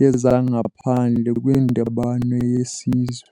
yezaNgaphandle kwiNdibano yesiZwe.